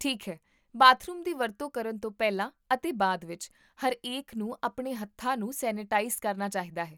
ਠੀਕ ਹੈ, ਬਾਥਰੂਮ ਦੀ ਵਰਤੋਂ ਕਰਨ ਤੋਂ ਪਹਿਲਾਂ ਅਤੇ ਬਾਅਦ ਵਿੱਚ, ਹਰੇਕ ਨੂੰ ਆਪਣੇ ਹੱਥਾਂ ਨੂੰ ਸੈਨੀਟਾਈਜ਼ ਕਰਨਾ ਚਾਹੀਦਾ ਹੈ